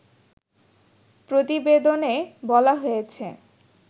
প্রতিবেদনে বলা হয়েছে